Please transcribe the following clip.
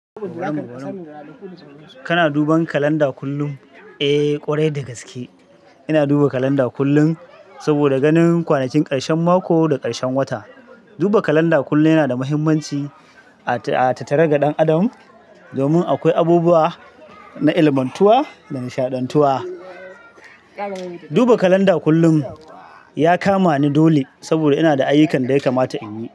Kana duban kalanda kullum? Eh ƙwarai da gaske. Ina duba kalanda kullum saboda ganin kwanakin karshen mako da karshen wata. Duba kalanda kullum yana da mahimmanci a tattare ga ɗan adam, domin akwai abubuwa na ilmantuwa da nishaɗantuwa. Duba kalanda kullum ya kama ni dole saboda ina da ayukan da ya kamata in yi.